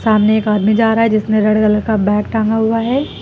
सामने एक आदमी जा रहा है जिसने रेड कलर का बैग टांगा हुआ है।